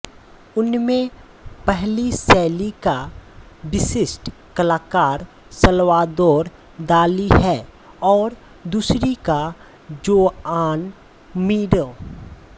उनमें पहली शैली का विशिष्ट कलाकार साल्वादोर दाली है और दूसरी का जोआन मीरो